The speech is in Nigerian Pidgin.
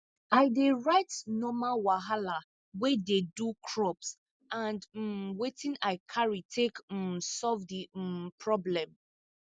i dey write normal wahala wey dey do crops and um wetin i carry take um solve di um problem